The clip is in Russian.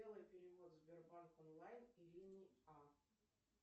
сделай перевод сбербанк онлайн ирине а